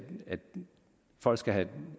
folk skal have